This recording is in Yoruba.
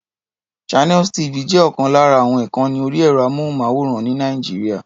Channels TV jẹ́ ọ̀kan lára àwọn ìkànni orí ẹ̀rọ-amóhùnmáwòrán ní Nàìjíríà.